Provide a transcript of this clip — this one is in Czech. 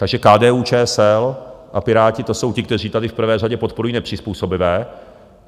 Takže KDU-ČSL a Piráti, to jsou ti, kteří tady v prvé řadě podporují nepřizpůsobivé.